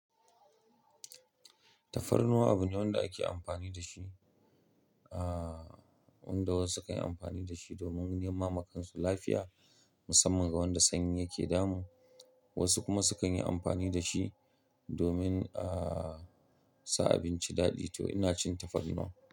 Tafarnuwa abune wanda ake amfani da shi, ah, wanda wasu sukan yi amfani da shi domin nima makansu lafiya musamman ga wanda sanyi yake damun. Wasu kuma sukan yi amfani da shi domin, ah, sa abinci daɗi to ina cin tafarnuwa.